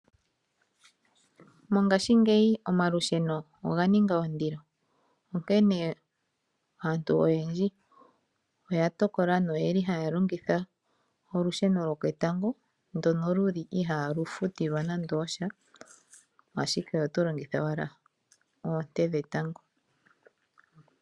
Mongashi ngeyi omalusheno oga ninga ondilo onkene aantu oyendji oya tokola noyeli haya longitha olusheno lwoketango ndono luli ihalu futilwa nande osha, ashike oto longitha owala oonte dhetango.